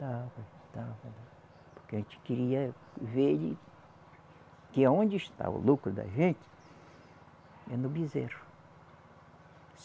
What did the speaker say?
Porque a gente queria ver ele, que aonde está o lucro da gente é no bezerro.